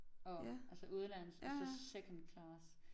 Og altså udenlandsk og så second class